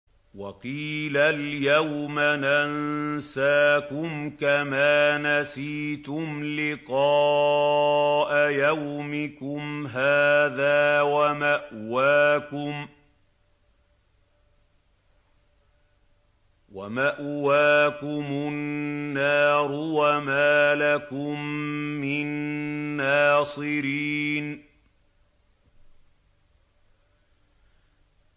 وَقِيلَ الْيَوْمَ نَنسَاكُمْ كَمَا نَسِيتُمْ لِقَاءَ يَوْمِكُمْ هَٰذَا وَمَأْوَاكُمُ النَّارُ وَمَا لَكُم مِّن نَّاصِرِينَ